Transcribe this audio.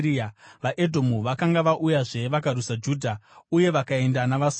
VaEdhomu vakanga vauyazve vakarwisa Judha uye vakaenda navasungwa.